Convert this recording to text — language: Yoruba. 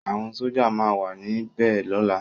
Awòn Sójá má wà ni bè lòlá